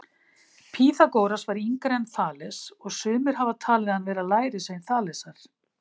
Pýþagóras var yngri en Þales og sumir hafa talið hann vera lærisvein Þalesar.